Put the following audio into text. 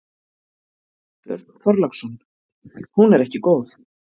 Björn Þorláksson: Hún er ekki góð?